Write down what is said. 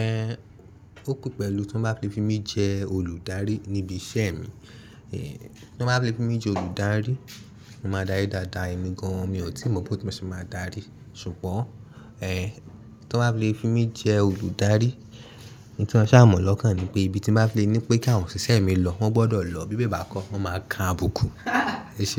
ẹ. Ó pẹ́ pẹ̀lú tí wọ́n bá fi mí jẹ́ olùdarí níbi iṣẹ́ mi. Tí wọ́n bá fi mí jẹ́ olùdarí, mo máa darí dáadáa, èmi gan-an mi ò tí mọ̀ pé bí mo ṣe máa darí. Ṣùgbọ́n, tí wọ́n bá fi mí jẹ́ olùdarí, ohun tí mo sà mọ̀ lọ́kàn ni pé bí tí bá fi ní pé kí àwọn òṣìṣẹ́ mi lọ, wọ́n gbọ́dọ̀ lọ bí bẹ́ẹ̀ bá kọ́, wọ́n máa ka abukú. Ẹ ṣé?